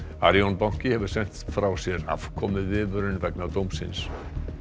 Arion banki hefur sent frá sér afkomuviðvörun vegna dómsins